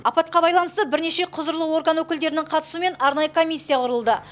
апатқа байланысты бірнеше құзырлы орган өкілдерінің қатысуымен арнайы комиссия құрылды